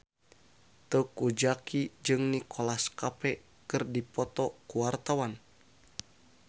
Teuku Zacky jeung Nicholas Cafe keur dipoto ku wartawan